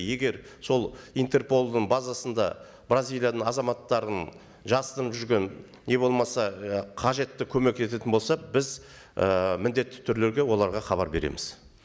егер сол интерполдың базасында бразилияның азаматтарының жасырынып жүрген не болмаса і қажетті көмек ететін болса біз ы міндетті түрлерде оларға хабар береміз